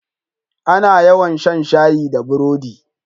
A na yawa shan shayi da burodi